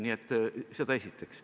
Nii et seda esiteks.